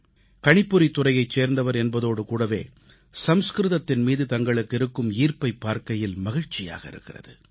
கணிப்பொறித்துறையைச் சேர்ந்தவர் என்பதோடு கூடவே சமஸ்கிருதத்தின் மீது தங்களுக்கு இருக்கும் ஈர்ப்பைப் பார்க்கையில் மகிழ்ச்சியாக இருக்கிறது